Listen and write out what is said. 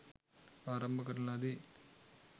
ආරම්භ කරන ලදී.